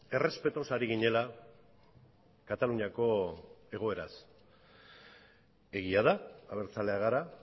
errespetuz ari ginela kataluniako egoeraz egia da abertzaleak gara